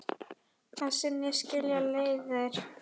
Að sinni skilja leiðir.